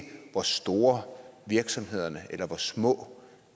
hvor store virksomhederne eller hvor små